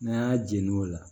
N'a y'a jeni o la